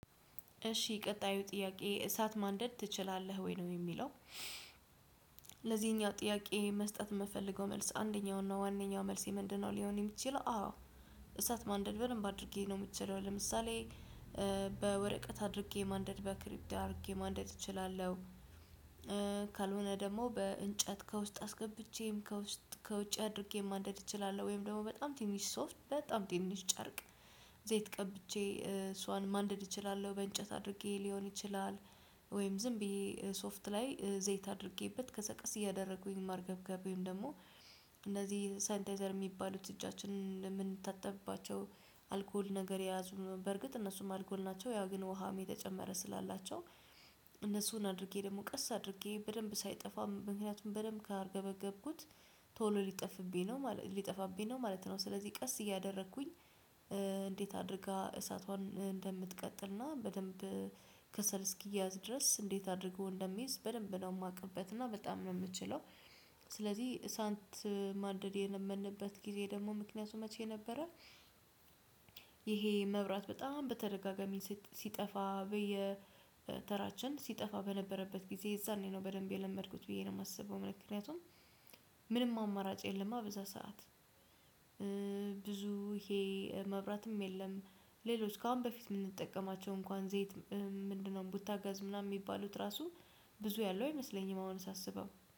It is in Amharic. እሺ ቀጣዩ ጥያቄ እሳት ማንደድ ትችላለህ ወይ ነው የሚለው? ለዚህኛው ጥያቄ መስጠት የምፈልገው መልስ አንደኛው እና ዋነኛው መልሴ ምንድነው ሊሆን የሚችለው አዎ። እሳት ማንደድ በደንብ አድርጌ ነው የምችለው ለምሳሌ በወረቀት አድርጌ ማንደድ በክሪቢት አድርጌ ማንደድ እችላለሁ። ደግሞ በእንጨት ከውስጥ አስገብቼም ከውስጥ ከውጭ አድርጌ ማንደድ እችላለሁ ወይም ደግሞ በጣም ትንሽ ሶፍት በጣም ትንሽ ጨርቅ ዘይት ቀብቼ እሷን ማንደድ እችላለሁ በእንጨት አድርጌ ሊሆን ይችላል። ወይም ዝም ብዬ ሶፍት ላይ ዘይት አድርጌበት ከዛ ቀስ እያደረጉኝ ማርገብገብ ደግሞ እነዚህ ሳይንታይዘር የሚባሉት እጃችንን የምንታጠብባቸው አልኮል ነገር የያዙን በእርግጥ እነሱም አልኮል ናቸው ያ ግን ውሃም የተጨመረ ስላላቸው እነሱን አድርጌ ደግሞ ቀስ አድርጌ በደንብ ሳይጠፋ ምክንያቱም በደንብ ካርገበገብኩት ቶሎ ሊጠፋብኝ ነው ማለት ሊጠፋብኝ ነው ማለት ነው። ስለዚህ ቀስ እያደረኩኝ እንዴት አድርጋ እሳቷን እንደምትቀጥልና በደንብ ከሰል እስኪያዝ ድረስ እንዴት አድርጎ እንደሚይዝ በደንብ ነው የማውቅበት እና በጣም ነው የምችለው። ስለዚህ እሳት ማንደድ የለመድንበት ጊዜ ደግሞ ምክንያቱም መቼ ነበረ? ይሄ መብራት በጣም በተደጋጋሚ ሲጠፋ በየተራችን ሲጠፋ በነበረበት ጊዜ የዛኔ ነው በደንብ የለመድኩት ብዬ ነው የማስበው ምክንያቱም። ምንም አማራጭ የለም በዛ ሰዓት። ብዙ ይሄ መብራትም የለም ሌሎች ካሁን በፊት የምንጠቀማቸው እንኳን ዘይት ቡታጋዝ ምናምን የሚባሉት ራሱ ብዙ ያለው አይመስለኝም። አሁን ሳስበው